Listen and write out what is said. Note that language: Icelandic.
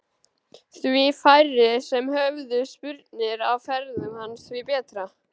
Því færri sem höfðu spurnir af ferðum hans því betra.